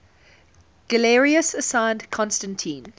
galerius assigned constantine